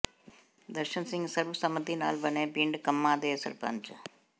ਦਰਸ਼ਨ ਸਿਘ ਸਰਬਸੰਮਤੀ ਨਾਲ ਬਣੇ ਪਿੰਡ ਕੰਮਾਂ ਦੇ ਸਰਪੰਚ